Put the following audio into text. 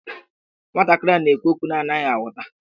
Nwantakịrị na-ekwu okwu a na-anaghị aghọta.